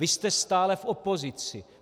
Vy jste stále v opozici.